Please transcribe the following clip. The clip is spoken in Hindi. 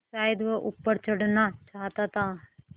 शायद वह ऊपर चढ़ना चाहता था